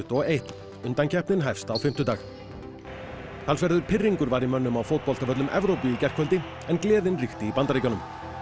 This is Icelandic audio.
og eitt undankeppnin hefst á fimmtudag talsverður pirringur var í mönnum á fótboltavöllum Evrópu í gærkvöldi en gleðin ríkti í Bandaríkjunum